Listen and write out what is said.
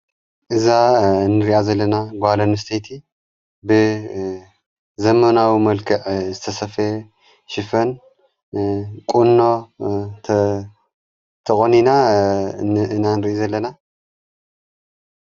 እዛ እንርያ ዘለና ጓልንስተይቲ ብዘመናዊ መልክዕ ዝተሰፈ ሽፈን ቖንኖ ተቖኒና ንእና ንርኢ ዘለና።